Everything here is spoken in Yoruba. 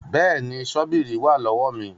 Bẹ́ẹ̀ni, ṣọ́bíìrì wà lọ́wọ́ mi